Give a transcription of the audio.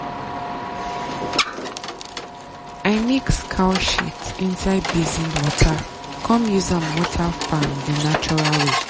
i mix cow shit inside basin water come use am water farm di natural way.